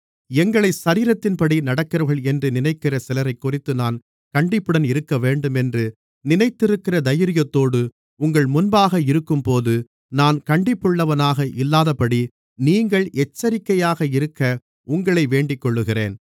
எங்களை சரீரத்தின்படி நடக்கிறவர்கள் என்று நினைக்கிற சிலரைக்குறித்து நான் கண்டிப்புடன் இருக்கவேண்டும் என்று நினைத்திருக்கிற தைரியத்தோடு உங்கள் முன்பாக இருக்கும்போது நான் கண்டிப்புள்ளவனாக இல்லாதபடி நீங்கள் எச்சரிக்கையாக இருக்க உங்களை வேண்டிக்கொள்ளுகிறேன்